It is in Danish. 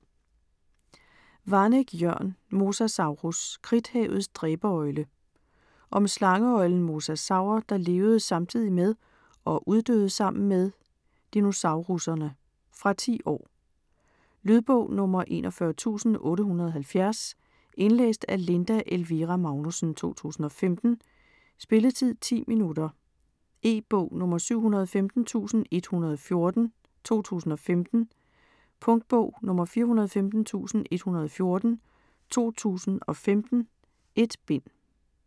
Waneck, Jørn: Mosasaurus - kridthavets dræberøgle Om slangeøglen mosasaur, der levede samtidig med - og uddøde sammen med - dinosaurusserne. Fra 10 år. Lydbog 41870 Indlæst af Linda Elvira Magnussen, 2015. Spilletid: 0 timer, 10 minutter. E-bog 715114 2015. Punktbog 415114 2015. 1 bind.